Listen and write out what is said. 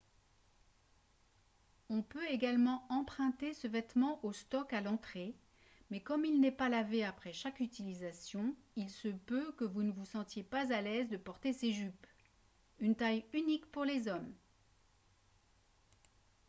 on peut également emprunter ce vêtement au stock à l'entrée mais comme il n'est pas lavé après chaque utilisation il se peut que vous ne vous sentiez pas à l'aise de porter ces jupes une taille unique pour les hommes